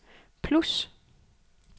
plus